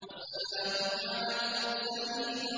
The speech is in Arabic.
وَسَلَامٌ عَلَى الْمُرْسَلِينَ